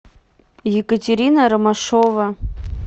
екатерина ромашова